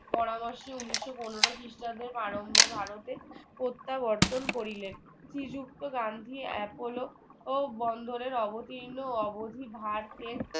পরামর্শ ঊনিশো পনেরো খ্রিস্টাব্দে আরম্ভে ভারতে প্রত্যাবর্তন করিলেন শ্রী যুক্ত গান্ধী এপোলো ও বন্দরের অবতীর্ন অবধি ভারকে